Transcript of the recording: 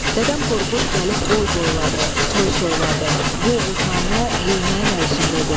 Dədəm Qorqud gəlib boy boyladı, soy soyladı, bu oğuznamə yeyinəyin olsun dedi.